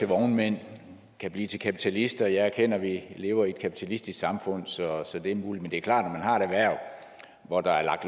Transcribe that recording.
vognmænd og kan blive kapitalister jeg erkender at vi lever i et kapitalistisk samfund så så det er muligt men det er klart har et erhverv hvor der er